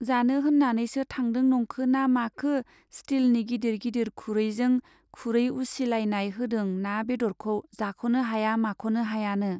जानो होन्नानैसो थांदों नंखोना माखो स्टिलनि गिदिर गिदिर खुरैजों खुरै उसिलायनाय होदों ना बेद'रखौ जाख'नो हाया माख'नो हायानो।